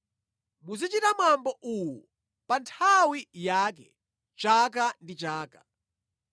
Muzichita mwambo uwu pa nthawi yake chaka ndi chaka.